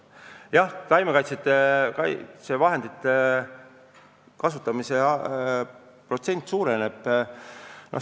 Jah, üldiselt taimekaitsevahendite kasutamine suureneb.